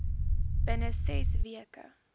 binne ses weke